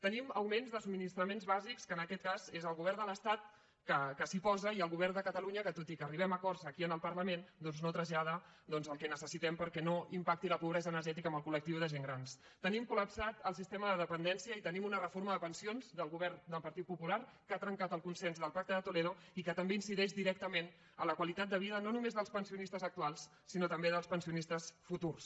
tenim augments de subministraments bàsics que en aquest cas és el govern de l’estat que s’hi posa i el govern de catalunya que tot i que arribem a acords aquí en el parlament doncs no trasllada el que necessitem perquè no impacti la pobresa energètica en el col·tenim colreforma de pensions del govern del partit popular que ha trencat el consens del pacte de toledo i que també incideix directament en la qualitat de vida no només dels pensionistes actuals sinó també dels pensionistes futurs